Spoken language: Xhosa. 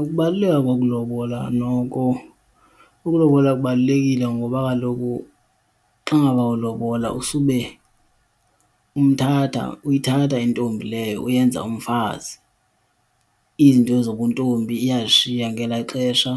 Ukubaluleka kokulobola noko, ukulobola kubalulekile ngoba kaloku xa ngaba ulobola usube umthatha, uyithatha intombi leyo uyenza umfazi. Izinto nezobuntombi iyazishiya ngelaa xesha